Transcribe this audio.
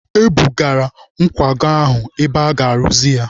E bụgara nkwago ahụ ebe aga-arụzi ya.